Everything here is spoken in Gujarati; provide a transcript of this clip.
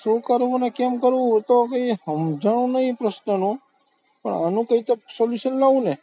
શું કરવું અને કેમ કરવું એ તો કઈ સમજાવાનો પ્રશ્ન નો, પણ આનું કંઈક solution લાવવું ને